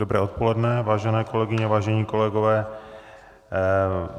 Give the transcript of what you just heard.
Dobré odpoledne, vážené kolegyně, vážení kolegové.